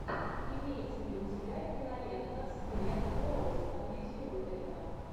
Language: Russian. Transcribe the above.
имеется ли у тебя кинолента с гленн клоуз анализируй это